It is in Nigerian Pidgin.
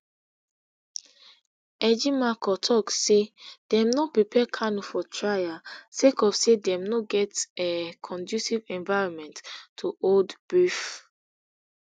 ejimakor tok say dem no prepare kanu for trial sake of say dem no get um conducive environment to hold brief